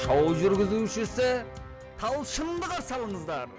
шоу жүргізушісі талшынды қарсы алыңыздар